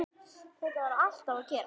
Þetta var alltaf að gerast.